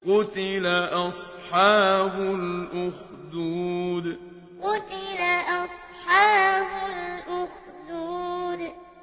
قُتِلَ أَصْحَابُ الْأُخْدُودِ قُتِلَ أَصْحَابُ الْأُخْدُودِ